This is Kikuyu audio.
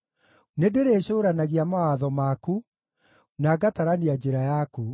Nĩndĩrĩcũũranagia mawatho maku na ngatarania njĩra yaku.